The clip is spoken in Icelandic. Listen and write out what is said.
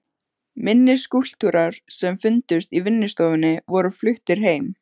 Minni skúlptúrar sem fundust í vinnustofunni voru fluttir heim.